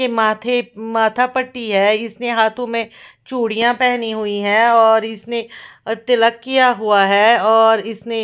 के माथे माथा पट्टी है इसने हाथो में चुडिया पहनी हुई है और इसने तिलक किया हुआ है और इसने --